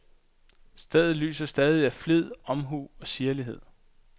Stedet lyser stadig af flid, omhu og sirlighed.